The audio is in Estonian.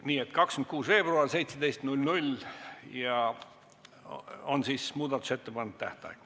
Nii et 26. veebruar kell 17 on muudatusettepanekute tähtaeg.